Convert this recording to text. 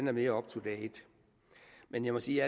er mere up to date men jeg må sige